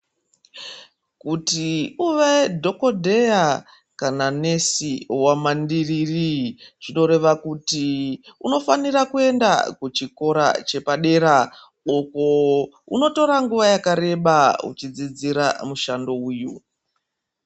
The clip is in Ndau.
Kuti uve dhokodheya kana nesi wemandiriri zvinoreva kuti unofanira kuenda kuchikora chepadera ukoo unotora nguwa yakareba uchidzidzira mushando uyu.